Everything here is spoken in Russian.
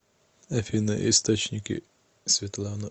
афина источники светлана